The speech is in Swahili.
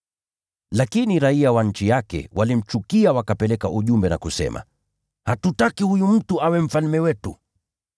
“Lakini raiya wa nchi yake walimchukia wakapeleka ujumbe na kusema, ‘Hatutaki huyu mtu awe mfalme wetu.’